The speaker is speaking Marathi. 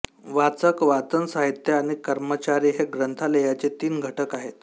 वाचक वाचन साहित्य आणि कर्मचारी हे ग्रंथालयाचे तीन घटक आहेत